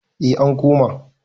eh an koma